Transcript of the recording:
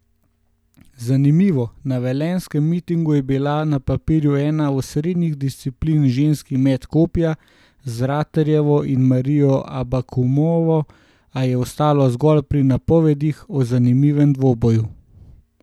Zanimivo, na velenjskem mitingu je bila na papirju ena osrednjih disciplin ženski met kopja z Ratejevo in Marijo Abakumovo, a je ostalo zgolj pri napovedih o zanimivem dvoboju.